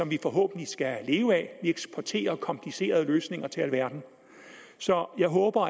vi forhåbentlig skal leve af vi eksporterer komplicerede løsninger til alverden så jeg håber